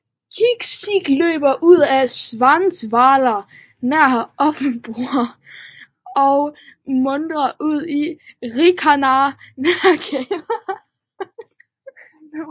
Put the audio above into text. Kinzig løber ud af Schwarzwald nær Offenburg og munder ud i Rhinen nær Kehl